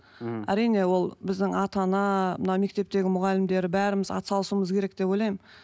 мхм әрине ол біздің ата ана мынау мектептегі мұғалімдер бәріміз ат салысуымыз керек деп ойлаймын